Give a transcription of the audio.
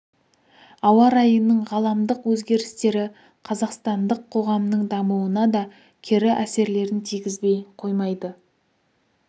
ауа райының ғаламдық өзгерістері қазақстандық қоғамның дамуына да кері әсерлерін тигізбей қоймайды